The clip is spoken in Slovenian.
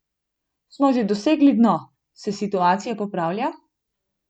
Smo že dosegli dno, se situacija popravlja?